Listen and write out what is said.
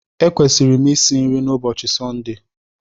Ekwesịrị m isi nri na ụbọchị Sọnde